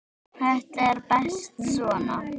Þetta er best svona.